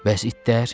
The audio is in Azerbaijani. Bəs itlər?